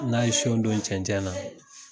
N'a ye siyon don cɛncɛn na